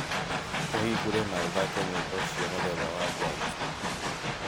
ũhingũre na ũthake nyĩmbo cia mũthemba wa jazz